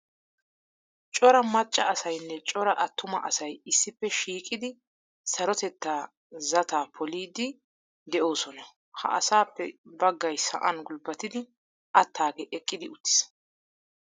Cora macca asaynne cora attuma asay issippe shiiqidi sarotettaa zataa poliiddi de'oosona. Ha asaappe baggay sa'an gulbbatidi attaagee eqqidi uttiis.